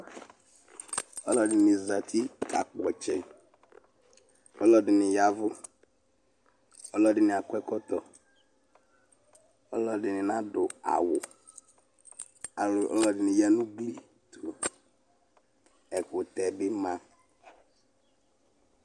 Alʋ ɛdini zati kakpɔ ɔtsɛ alʋ ɛdini ya ɛvʋ alʋ ɛdini akɔ ɛkɔtɔ alʋ ɛdini nadʋ awʋ alʋ ɛdini yanʋ uglitʋ ɛkʋtɛ bi ma